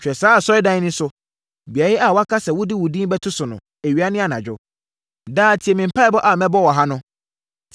Hwɛ saa Asɔredan yi so, beaeɛ a woaka sɛ wode wo din bɛto so no, awia ne anadwo. Daa, tie me mpaeɛ a mebɔ wɔ ha no.